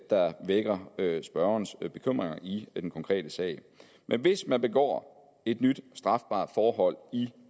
der vækker spørgerens bekymring i den konkrete sag men hvis man begår et nyt strafbart forhold i